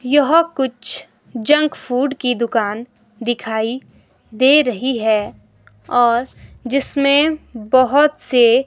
यह कुछ junk food की दुकान दिखाई दे रही है और जिसमें बहोत से--